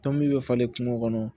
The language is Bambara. Tɔn min be falen kungo kɔnɔ